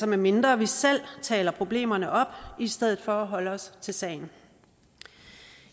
medmindre vi selv taler problemerne op i stedet for at holde os til sagen